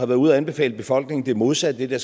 været ude at anbefale befolkningen det modsatte af det